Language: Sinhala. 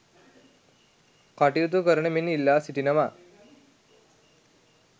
කටයුතු කරන මෙන් ඉල්ලා සිටිනවා